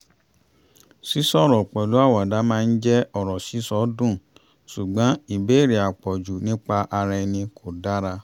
sí sọ̀rọ̀ pẹ̀lú àwàdà máa ń jẹ́ ọ̀rọ̀ sísọ dùn ṣùgbọ́n ìbéèrè àpọ̀jù nípa ara ẹni kò dára